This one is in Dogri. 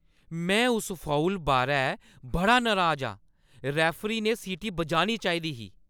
में उस फाउल बारै बड़ा नराज आं! रैफरी ने सीटी बजानी चाहिदी हा।